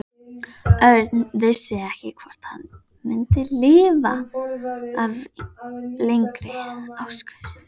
Örn vissi ekki hvort hann myndi lifa af lengri akstur.